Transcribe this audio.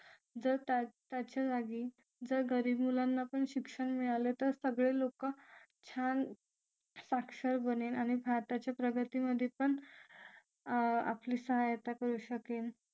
जर त्याच्या जागी जर गरीब मुलांना पण शिक्षण मिळालं तर सगळे लोक छान साक्षर बनेल आणि भारताच्या प्रगतीमध्ये पण आपली सहायता करू शकेल